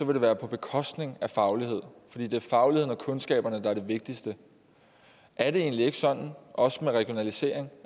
det være på bekostning af faglighed fordi det er fagligheden og kundskaberne der er det vigtigste er det egentlig ikke sådan også med regionalisering